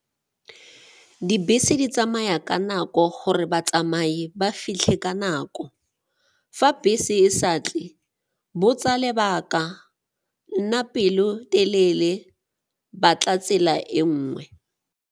Dibese di tsamaya ka nako gore batsamai ba fitlhe ka nako. Fa bese e sa tle, botsa lebaka, nna pelo telele, batla tsela e nngwe.